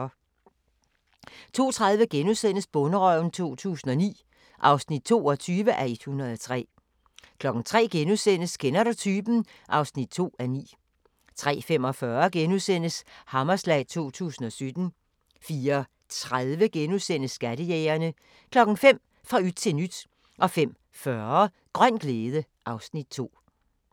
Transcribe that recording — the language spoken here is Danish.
02:30: Bonderøven 2009 (22:103)* 03:00: Kender du typen? (2:9)* 03:45: Hammerslag 2017 * 04:30: Skattejægerne * 05:00: Fra yt til nyt 05:40: Grøn glæde (Afs. 2)